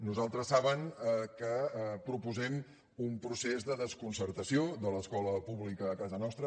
nosaltres saben que proposem un procés de desconcertació de l’escola pública a casa nostra